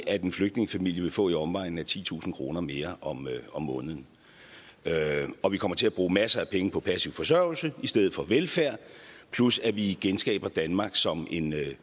at en flygtningefamilie vil få af i omegnen af titusind kroner mere om mere om måneden og vi kommer til at bruge masser af penge på passiv forsørgelse i stedet for velfærd plus at vi genskaber danmark som en